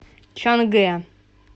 чангэ